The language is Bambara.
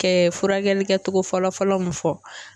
Kɛ furakɛli kɛcogo fɔlɔ fɔlɔ mun fɔ.